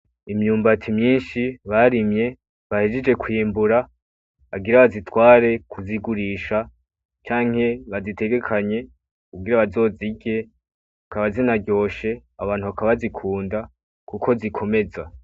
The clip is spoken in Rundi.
Imyumbati myishi barimye bahejeje kwimbura bagira bazitware kuzigurisha canke bazitegekanye kugira bazozirye zikaba zinaryoshe abantu bakaba bazikunda kuko zikomeza.